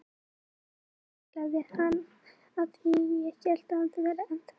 Ég tæklaði hann því að ég hélt að ég væri ennþá fyrir utan vítateig.